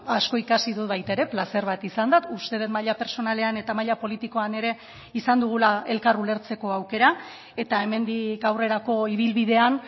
asko ikasi dut baita ere plazer bat izan da uste dut maila pertsonalean eta maila politikoan ere izan dugula elkar ulertzeko aukera eta hemendik aurrerako ibilbidean